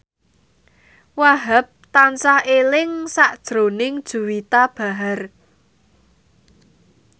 Wahhab tansah eling sakjroning Juwita Bahar